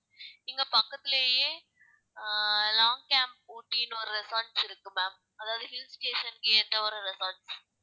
இங்க பக்கத்திலயே ஆஹ் லாங் கேம்ப் ஊட்டின்னு ஒரு resorts இருக்கு ma'am அதாவது hill station க்கு ஏத்த ஒரு resorts